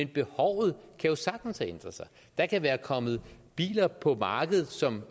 behovet jo sagtens have ændret sig der kan være kommet biler på markedet som